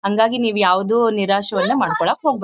ಹಂಗಾಗಿ ನೀವ್ ಯಾವ್ದು ನಿರಾಶೆಯನ್ನ ಮಾಡ್ಕೊಳ್ಳೋಕೆ ಹೋಗ್ಬೇಡಿ.